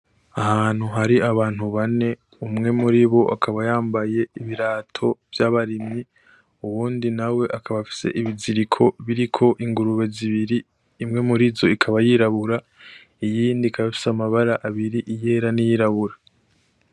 Ahantu hari abantu bane, umwe muribo akaba yambaye ibirato vy'abarimyi; uwundi nawe akaba afise ibiziko biriko ingurube zibiri, imwe mur' izo ikaba yirabura; iyindi ikaba ifise amabara abiri iyera n'iyirabura.